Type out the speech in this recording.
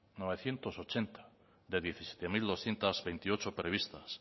novecientos ochenta de diecisiete mil doscientos veintiocho previstas